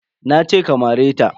Nace ka mare ta.